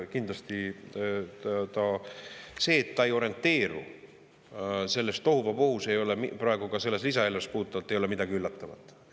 Kindlasti selles, et ta ei orienteeru selles tohuvabohus, ei ole praegu ka selle lisaeelarve puhul midagi üllatavat.